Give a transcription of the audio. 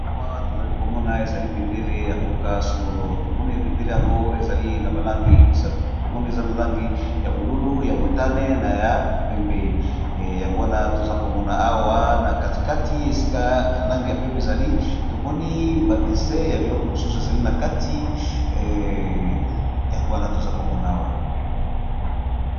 Awa tozali komona ezali bendele ya mboka songolo tomoni ebendele yango ezali na balangi misatu tomoni eza na langi ya bolulu ya motane na ya pembe yangwana toza komona awa na katikati esika langi ya pembe ezali tomoni badese ya biloko mosusu ezali na kati yangwana toza komona awa.